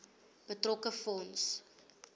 betrokke fonds